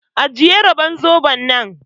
Ajiye robar zoɓon nan!